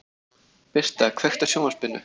Birta, kveiktu á sjónvarpinu.